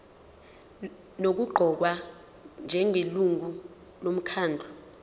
nokuqokwa njengelungu lomkhandlu